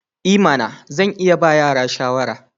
I mana! Zan iya ba yara shawara.